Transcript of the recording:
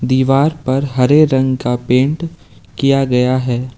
दीवार पर हरे रंग का पेंट किया गया है।